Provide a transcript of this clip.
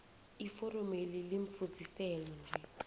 iforomeli limfuziselo nje